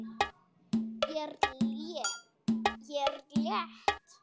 Ég er létt.